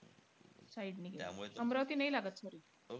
Side नी. अमरावती नाई लागत sorry.